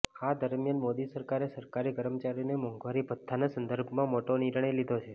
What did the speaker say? આ દરમિયાન મોદી સરકારે સરકારી કર્મચારીઓને મોંઘવારી ભથ્થાના સંદર્ભમાં મોટો નિર્ણય લીધો છે